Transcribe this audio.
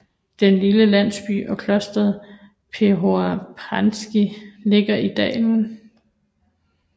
Den lille landsby og klosteret Prohor Pčinjski ligger i dalen